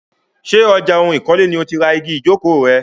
Ṣé ọjà ohun ìkọ́lé ni o ti ra igi ìjókòó rẹ?